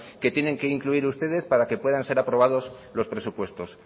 que tienen que incluir ustedes para que puedan ser aprobados los presupuestos